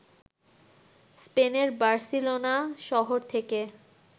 স্পেনের বার্সিলোনা শহর থেকে